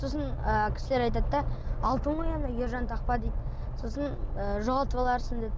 сосын ы кісілер айтады да алтын ғой анау ержан тақпа дейді сосын ы жоғалтып аларсың дейді